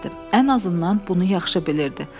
Ən azından bunu yaxşı bilirdi.